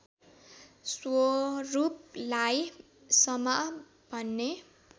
स्वरूपलाई समा भन्ने